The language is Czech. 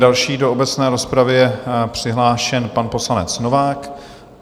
Další do obecné rozpravy je přihlášen pan poslanec Novák.